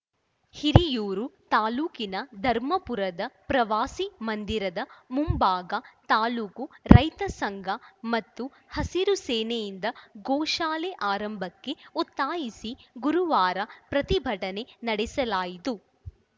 ಹಿರಿಯೂರು ತಾಲೂಕಿನ ಧರ್ಮಪುರದ ಪ್ರವಾಸಿ ಮಂದಿರದ ಮುಂಭಾಗ ತಾಲೂಕು ರೈತ ಸಂಘ ಮತ್ತು ಹಸಿರು ಸೇನೆಯಿಂದ ಗೋಶಾಲೆ ಆರಂಭಕ್ಕೆ ಒತ್ತಾಯಿಸಿ ಗುರುವಾರ ಪ್ರತಿಭಟನೆ ನಡೆಸಲಾಯಿತು